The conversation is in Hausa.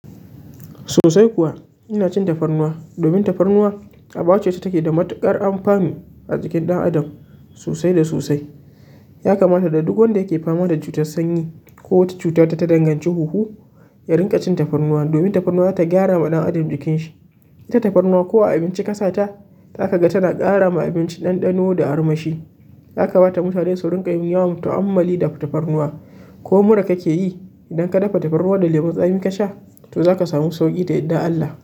Sosai kuwa ina cin tafarnuwa domin tafarnuwa, a baya ce ta take da matuƙar amfani a cikin ɗan adam sosai da sosai. Ya kamata da duk wanda yake fama da cutar sanyi ko wata cuta ta dangancen hunhu, ya riƙa cin tafarnuwa domin tafarnuwa ta gyara ma ɗan adam jikinshi. Ita tafarnuwa, ko a abinci ka sa ta, za ka ga tana ƙara ma abinci ɗanɗano da armashi. Ya kamata mutane sunriƙa yin yawan ta'ammali da tafarnuwa. Ko mura kake yi, idan ka dafa tafarnuwa da lemun tsami ka sha, to za ka sami sauƙi ta yadda Allah.